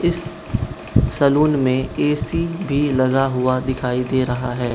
इस सलून में ए_सी भी लगा हुआ दिखाई दे रहा है।